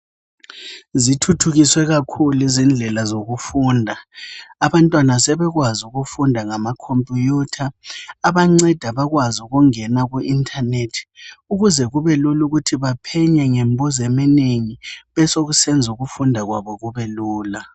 Zithuthukiswe kakhulu izindlela zokufunda abantwana sebekwazi ukufunda ngama computer abanceda ukungena ku internet ukuze baphenye ngokunengi besekwenza ukufunda kwabo kube lula